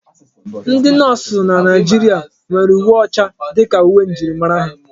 Ndi nọọsụ na Naijiria nwere uwe ọcha dịka uwe njirimara ha.